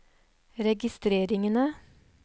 registreringene